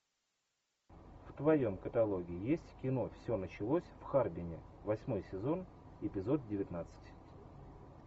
в твоем каталоге есть кино все началось в харбине восьмой сезон эпизод девятнадцать